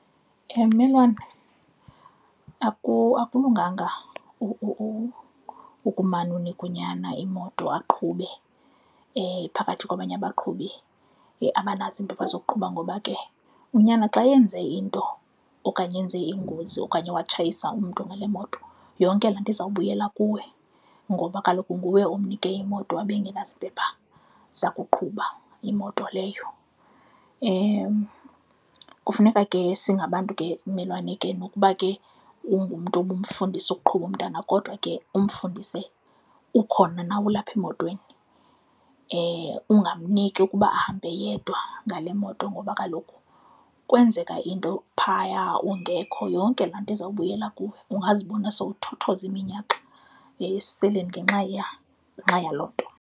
Mmelwane, akulungaga ukumane unika unyana imoto aqhube phakathi kwabanye abaqhubi abanazo iimpepha zokuqhuba ngoba ke unyana xa yenze into okanye enze ingozi okanye watshayisa umntu ngale moto, yonke laa nto iza kubuyela kuwe ngoba kaloku nguwe omnike imoto abe engenazimpepha zokuqhuba imoto leyo. Kufuneka ke singabantu ke, mmelwane, ke nokuba ke ungumntu obumfundisa ukuqhuba umntana kodwa ke umfundise ukhona nawe ulapha emotweni. Ungamniki ukuba ahambe yedwa ngale moto ngoba kaloku kwenzeka into phaya ungekho yonke laa nto izawubuyela kuwe, ungazibona sowuthothoza iminyaka esiseleni ngenxa yaloo nto.